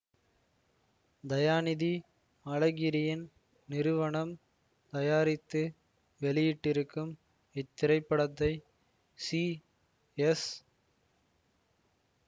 தயாநிதி அழகிரியின் நிறுவனம் தயாரித்து வெளியிட்டிருக்கும் இத்திரைப்படத்தை சி எஸ்